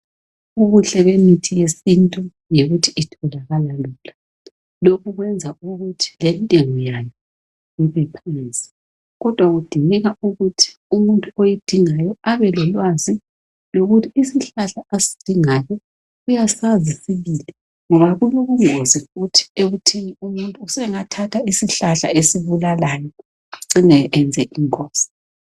Ubuhle emithi yesintu yikuthi itholakala lula lokhu kwenza ukuthi lentengo yayo ibe phansi kodwa kudingeka ukuthi umuntu oyidingayo abelolwazi lokuthi isihlahla asidingayo uyasazi sibili ngoba kulobungozi futhi ekutheni umuntu usengathatha isihlahla esibulalayo ecine enze ingozi.